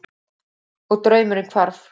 Og draumurinn hvarf.